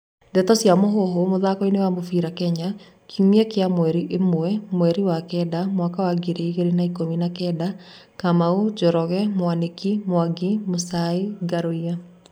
Ndeto cia Mũhuhu, mũthakoini wa mũbĩra Kenya, kiumia kia mweri ĩmwe, mweri wa kenda, mwaka wa ngiri igĩrĩ na ikumi na kenda:Kamau, Njoroge Mwaniki, Mwangi, Muchai, Ngaruiya.